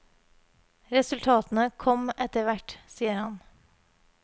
Resultatene kom etter hvert, sier han.